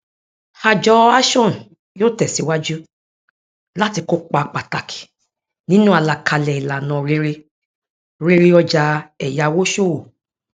àjọ ashon yóò tẹsíwájú láti kópa pàtàkì nínú àlàkalè ìlànà rere rere ọjà èyàwó ṣòwò